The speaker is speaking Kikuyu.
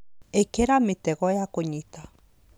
ĩkĩra mĩtego ya kũnyita